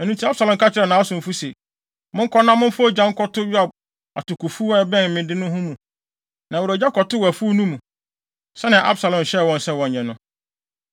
Ɛno nti, Absalom ka kyerɛɛ nʼasomfo se, “Monkɔ na momfa ogya nkɔto Yoab atokofuw a ɛbɛn me de no ho mu.” Na wɔde ogya kɔtoo afuw no mu, sɛnea Absalom hyɛɛ wɔn sɛ wɔnyɛ no.